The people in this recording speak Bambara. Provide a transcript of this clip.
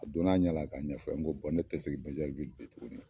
A don na a ɲɛ la k'a ɲɛfɔ n ko ne tɛ segin Bɛnyɛriwili bilen tugunni.